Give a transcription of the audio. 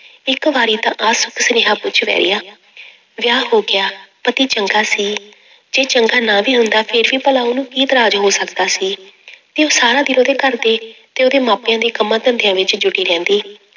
ਇੱਕ ਵਾਰੀ ਤਾਂ ਆ ਸੁਨੇਹਾਂ ਪੁੱਛ ਵੈਰੀਆ ਵਿਆਹ ਹੋ ਗਿਆ, ਪਤੀ ਚੰਗਾ ਸੀ ਜੇ ਚੰਗਾ ਨਾ ਵੀ ਹੁੰਦਾ ਫਿਰ ਵੀ ਭਲਾ ਉਹਨੂੰ ਕੀ ਇਤਰਾਜ਼ ਹੋ ਸਕਦਾ ਸੀ ਤੇ ਉਹ ਸਾਰਾ ਦਿਨ ਉਹਦੇ ਘਰਦੇ ਤੇ ਉਹਦੇ ਮਾਪਿਆਂ ਦੇ ਕੰਮਾਂ ਧੰਦਿਆਂ ਵਿੱਚ ਜੁੱਟੀ ਰਹਿੰਦੀ।